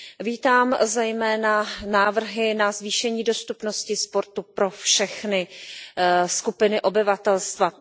Vítám zejména návrhy na zvýšení dostupnosti sportu pro všechny skupiny obyvatelstva.